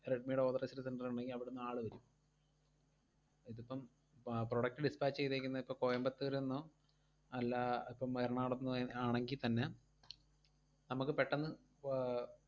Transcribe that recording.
റെഡ്‌മിടെ authorized center ഒണ്ടെങ്കി അവിടുന്ന് ആള് വരും. ഇതിപ്പം പ~ product dispatch ചെയ്തേക്കുന്നതിപ്പം കോയമ്പത്തൂരുന്നോ അല്ലാ ഇപ്പം എറണാകുളത്തുന്നോ ഏർ ആണെങ്കിത്തന്നെ നമ്മക്ക് പെട്ടന്ന് ആഹ്